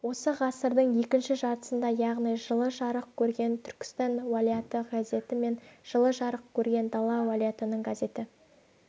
осы ғасырдың екінші жартысында яғни жылы жарық көрген түркістан уалаяты газеті мен жылы жарық көрген дала уалаятының газеті